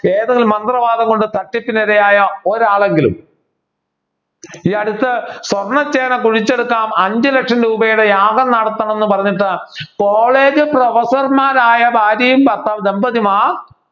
ഏതൊരു മന്ത്രവാദം കൊണ്ട് തട്ടിപ്പിനിരയായ ഒരാളെങ്കിലും ഈയടുത്ത് സ്വർണ ചേന കുഴിച്ചെടുക്കാം അഞ്ചുലക്ഷം രൂപയുടെ യാഗം നടത്തണം എന്ന് പറഞ്ഞിട്ട് college professor മാരായ ഭാര്യയും ഭർത്താവും ദമ്പതിമാർ